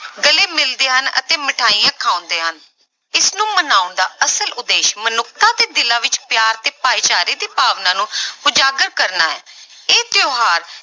ਗਲੇ ਮਿਲਦੇ ਹਨ ਅਤੇ ਮਠਿਆਈਆਂ ਖਵਾਉਂਦੇ ਹਨ, ਇਸਨੂੰ ਮਨਾਉਣ ਦਾ ਅਸਲ ਉਦੇਸ਼ ਮਨੁੱਖਤਾ ਦੇ ਦਿਲਾਂ ਵਿੱਚ ਪਿਆਰ ਅਤੇ ਭਾਈਚਾਰੇ ਦੀ ਭਾਵਨਾ ਨੂੰ ਉਜਾਗਰ ਕਰਨਾ ਹੈ ਇਹ ਤਿਉਹਾਰ